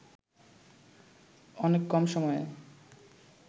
অনেক কম সময়ে